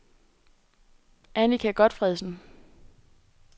Annika Gotfredsen